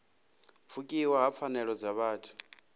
pfukiwa ha pfanelo dza vhuthu